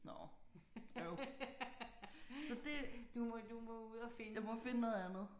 Nåh øv. Så det. Jeg må finde noget andet